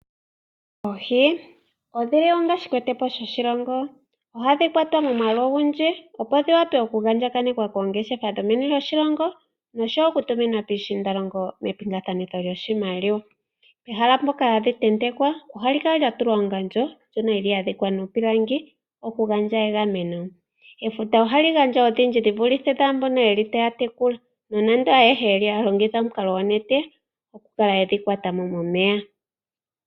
Oohi odhili onga shikwete po shoshilongo, ohadhi kwatwa momwaalu ogundji opo dhi wa pe oku andjakanekwa koongeshefa dhomeni lyoshilongo nosho woo okutuminwa piishiindalongo mepingathanitho lyoshimaliwa. Ehala mpoka hadhi tentekwa ohali kala lya tulwa ongandjo ndjono yili ya dhikwa nuupilangi okugandja egameno. Efuta ohali gandja odhindji dhi vulithe dhaambono yeli taya tekula nonando ayehe oyeli haya longitha omukalo gwonete okukala yedhi kwata mo momeya.